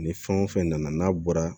Ni fɛn o fɛn nana n'a bɔra